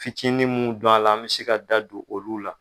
Fitinin mun b'ala, an bɛ se ka da don olu la.